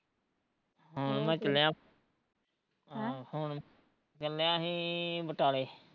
ਹੁਣ ਮੈਂ ਚੱਲਿਆ ਚੱਲਿਆ ਸੀ ਬਟਾਲੇ